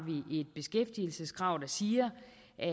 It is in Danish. vi et beskæftigelseskrav der siger